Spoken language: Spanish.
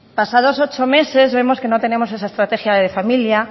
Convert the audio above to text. pasados ocho meses vemos que no tenemos esa estrategia de familia